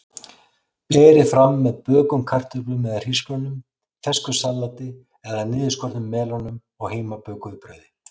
Berið fram með bökuðum kartöflum eða hrísgrjónum, fersku salati eða niðurskornum melónum og heimabökuðu brauði.